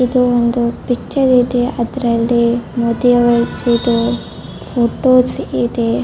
ಇದು ಒಂದು ಪಿಚ್ಚರ್ ಇದೆ ಅದರಲ್ಲಿ ಮೋದಿ ಅವರ ಫೊಟೋಸ್ ಇದೆ .